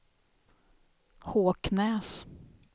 Håknäs